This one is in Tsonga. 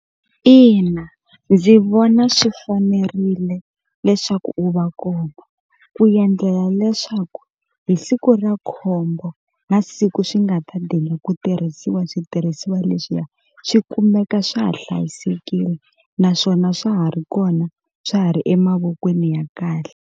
Ina ndzi vona swi fanerile leswaku u va komba ku yendlela leswaku hi siku ra khombo na siku swi nga ta ku tirhisiwa switirhisiwa leswiya swi kumeka swa ha hlayisekile naswona swa ha ri kona swa ha ri emavokweni ya kahle.